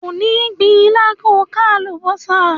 O ò ní gbin ilá ko ka àlùbọ́sà.